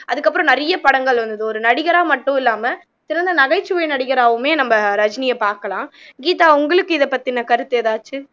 அதுக்கப்பறம் நிறைய படங்கள் வந்தது ஒரு நடிகரா மட்டும் இல்லாம சிறந்த நகைச்சுவை நடிகராவுமே நம்ம ரஜினியை பாக்கலாம் கீதா உங்களுக்கு இதை பத்தின கருத்து எதாச்சு